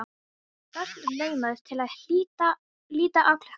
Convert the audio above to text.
Örn laumaðist til að líta á klukkuna.